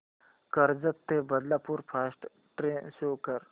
कर्जत ते Badlapur fast train show कर